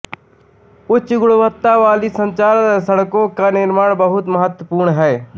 उच्च गुणवत्ता वाली संचार सड़कों का निर्माण बहुत महत्वपूर्ण है